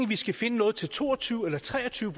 vi skal finde noget til to og tyve eller tre og tyve